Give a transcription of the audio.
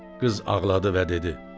Qız ağladı və dedi: